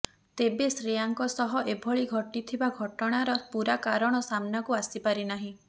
ତେବେ ଶ୍ରେୟାଙ୍କ ସହ ଏଭଳି ଘଟିଥିବା ଘଟଣାର ପୂରା କାରଣ ସାମ୍ନାକୁ ଆସି ପାରି ନାହିଁ